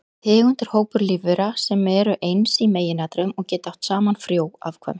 Tegund er hópur lífvera sem eru eins í meginatriðum og geta átt saman frjó afkvæmi.